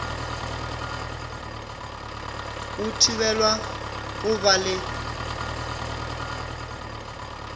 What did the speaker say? o thibelwa go ba le